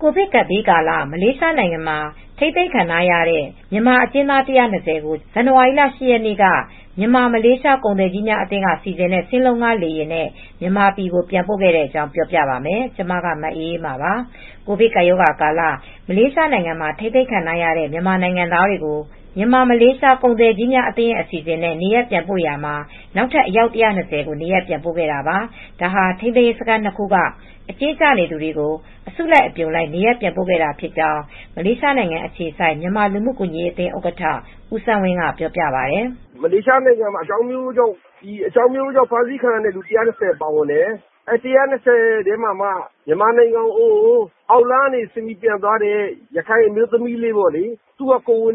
ကိုဗစ်ကပ်ဘေးကာလ မလေးရှားနိုင်ငံမှာ ထိန်းသိမ်းခံထားရတဲ့ မြန်မာအကျဉ်းသား ၁၂၀ကို ဇန်နဝါရီလ ၈ ရက်နေ့ကမြန်မာမလေးရှားကုန်သည်ကြီးများအသင်းကစီစဉ်တဲ့ စင်းလုံးဌားလေယာဉ်နဲ့ မြန်မာပြည်ကို ပြန်ပို့ခဲ့တဲ့အကြောင်း ပြောပြပါမယ်။ ဗွီအိုအေမြန်မာပိုင်းသတင်းထောက် မအေးအေးမာက ပြောပြပေးပါမယ်။ ကိုဗစ်ကပ်ရောဂါကာလ မလေးရှားနိုင်ငံထဲမှာ ထိန်းသိမ်းခံထားရတဲ့ မြန်မာနိုင်ငံသားတွေကို မြန်မာ မလေးရှားကုန်သည်ကြီးများအသင်းအစီစဉ်နဲ့ နေရပ်ပြန်ပို့နေရာမှာ နောက်ထပ်အယောက် ၁၂၀ကို နေရပ်ပြန်ပို့ခဲ့တာပါ။ ဒါဟာ ထိန်းသိမ်းစခန်း ၂ခုက အကျဉ်းကျနေသူတွေကို အစုလိုက် အပြုံလိုက် နေရပ်ပြန်ပို့ခဲ့တာဖြစ်ကြောင်း မလေးရှားနိုင်ငံအခြေစိုက် မြန်မာလူမူကူညီရေးအသင်းဥက္ကဌ ဦးစန်းဝင်းက ပြောပါတယ်။ “မလေးရှားနိုင်ငံမှာအကြောင်း အမျိုးမျိုးကြောင့် အဖမ်းခံရတဲ့လူ ၁၂၀ပါဝင်တယ်။ ၁၂၀ထဲမှာက မြန်မာနိုင်ငံကို အောက်လမ်းကနေ ပြန်သွားတဲ့ ရခိုင်အမျိုးသမီးလေး ကိုယ်ဝန်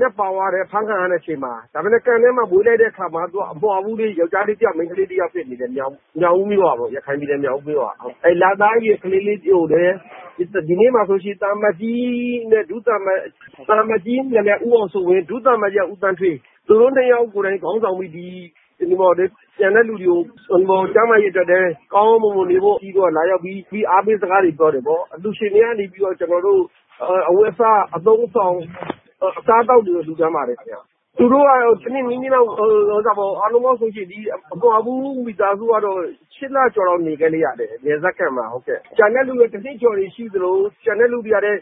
နဲ့ ပါသွားတယ် ။ ထိန်းသိမ်းစခန်းထဲမှာပဲ ကလေးမီးဖွားတယ် ။ အမွှာလေး ယောက်ကျားလေးတယောက် မိန်းကလေးတယောက်မွေးတယ် ရခိုင်ပြည်နယ်မြောက်ဦးမြို့က လာတဲ့သူပါ။ သံအမတ်ကြီးဦးအောင်စိုးဝင်း၊ ဒုသံအမတ်ကြီးဦးသန်းဌေးတို့ ဦးဆောင်ပြီး ပြန်တဲ့သူတွေကို ကျန်းမာရေးကိစ္စတွေနဲ့ အားပေးစကားလာပြောကြတယ် ။ အလျုရှင်တွေက အဝတ်အစား၊ အသုံးအဆောင်အစားအသောက်တွေလှူဒါန်းပါတယ်။ အမွှာပူးမွေးတဲ့ မိသားစုက ၈ လကျော်၊ တနှစ်လောက်ထောင်ထဲမှာ နေခဲ့ရတယ် နယ်စပ်စခန်းမှာပေါ့ ကျန်တဲ့သူတွေကတော့ တနှစ်ကျော် နေတဲ့သူကျန်တဲ့သူတွေက ၈ လနေတဲ့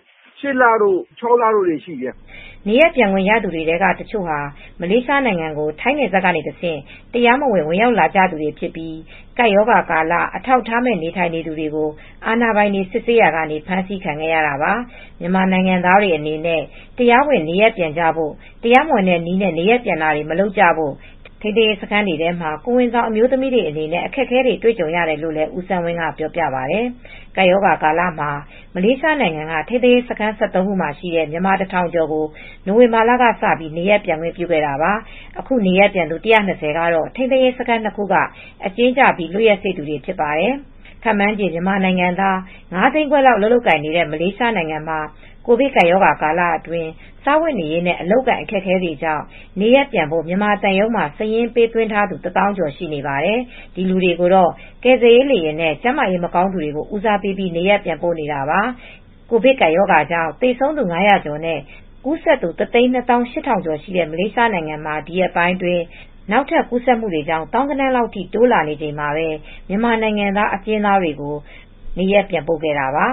သူ ၆ လနေတဲ့သူတွေရှိတယ်။” နေရပ်ပြန်ခွင့်ရသူတွေထဲက တချို့ဟာ မလေးရှားနိုင်ငံကို ထိုင်းနယ်စပ်ကတဆင့် တရားမဝင် ဝင်ရောက်လာသူတွေဖြစ်ကြပြီး ကပ်ရောဂါကာလ အထောက်အထားမဲ့ နေထိုင်သူတွေကို အာဏာပိုင်တွေ စစ်ဆေးရာမှာ ဖမ်းဆီးခံခဲ့ရတာပါ။ မြန်မာနိုင်ငံသားတွေအနေနဲ့ တရားဝင်နေရပ်ပြန်ကြဖို့တရားမဝင်တဲ့ နည်းနဲ့ နေရပ်ပြန်တာတွေ မလုပ်ကြဖို့ ထိန်းသိမ်းစခန်းတွေထဲမှာ ကိုယ်ဝန်ဆောင်အမျိုုးသမီးတွေ အခက်အခဲတွေ့ကြုံရတယ် လို့လည်း ဦးစန်းဝင်းက ပြောပြခဲ့ပါတယ်။ ကပ်ရောဂါကာလမှာ မလေးရှားနိုင်ငံက ထိန်းသိမ်းရေးစခန်း ၁၃ ခုမှာရှိတဲ့ မြန်မာတထောင်ကျော်ကို နိုဝင်ဘာကစ နေရပ်ပြန်ခွင့်ပြုခဲ့တာပါ။ အခု နေရပ်ပြန်သူ ၁၂၀ ကတော့ ထိန်းသိမ်းရေးစခန်း ၂ခုက အကျဉ်းကျပြီးလွတ်ရက်စေ့သူတွေဖြစ်ပါတယ်။ ခန့်မှန်းခြေ မြန်မာနိုင်ငံသား ၅ သိန်းခွဲလောက် အလုပ်လုပ်ကိုင်နေတဲ့မလေးရှားမှာ ကိုဗစ်ကပ်ရောဂါ ကာလအတွင်း စားဝတ်နေရေးနဲ့ အလုပ်အကိုင် အခက်အခဲတွေကြောင့် နေရပ်ပြန်ဖို့မြန်မာသံရုံးမှာ စာရင်းပေးသွင်းထားသူ တသောင်းကျော်ရှိနေပါတယ်။ ဒီလူတွေကို ကယ်ဆယ်ရေးလေယာဉ်တွေနဲ့ ကျန်းမာရေးမကောင်းသူတွေကို ဦးစားပေးပြီးနေရပ်ပြန်ပို့နေတာပါ။ ကိုဗစ်ကပ်ရောဂါကြောင့် သေဆုံးသူ ငါးရာကျော်နဲ့ ကူးစက်သူ တသိန်းနှစ်သောင်း ရှစ်ထောင်ကျော် ရှိနေတဲ့ မလေးရှားနိုင်ငံမှာ ဒီရက်ပိုင်းအတွင်း နောက်ထပ် ကူးစက်မှုတွေကြောင့် သောင်းဂဏန်း လောက် ထိ တိုးလာနေချိန်မှာပဲ မြန်မာနိုင်ငံသားအကျဉ်းသားတွေကို နေရပ်ပြန်ပို့ခဲ့တာပါ